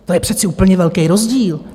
To je přece úplně velký rozdíl.